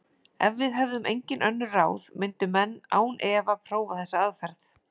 Ef við hefðum engin önnur ráð myndu menn án efa prófa þessa aðferð.